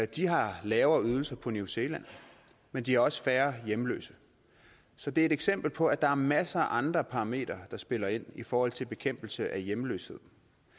de har lavere ydelser på new zealand men de har også færre hjemløse så det er et eksempel på at der er masser af andre parametre der spiller ind i forhold til bekæmpelse af hjemløshed